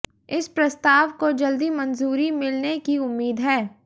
इस प्रस्ताव को जल्दी मंजूरी मिलने की उम्मीद है